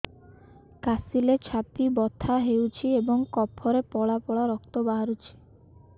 କାଶିଲେ ଛାତି ବଥା ହେଉଛି ଏବଂ କଫରେ ପଳା ପଳା ରକ୍ତ ବାହାରୁଚି